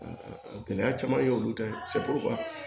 Gɛlɛya caman y'olu ta ye